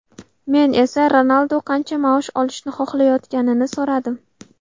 Men esa Ronaldu qancha maosh olishni xohlayotganini so‘radim.